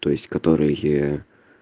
то есть которые